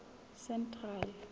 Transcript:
central